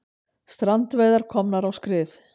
Strandveiðar komnar á skrið